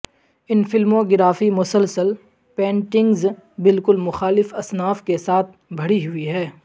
ان filmography مسلسل paintings بالکل مخالف اصناف کے ساتھ بھری ہوئی ہے